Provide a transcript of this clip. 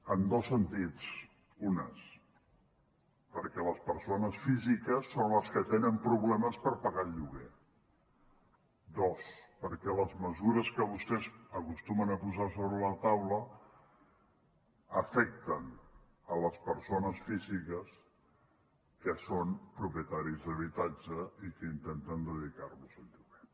en dos sentits un perquè les persones físiques són les que tenen problemes per pagar el lloguer dos perquè les mesures que vostès acostumen a posar sobre la taula afecten les persones físiques que són propietàries d’habitatges i que intenten dedicar los al lloguer